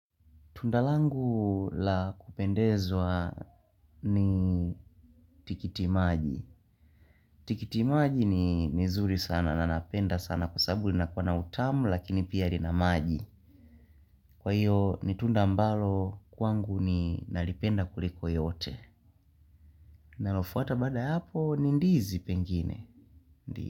Tunda langu la kupendezwa ni tikiti maji. Tikiti maji ni zuri sana na napenda sana kwa sabu linakuwa na utamu lakini pia rinamaji. Kwa hiyo ni tunda ambalo kwangu ni naripenda kuriko yote. Nalofuata baada ya hapo ni ndizi pengine.